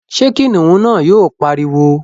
ṣé kìnìún náà yóò pariwo?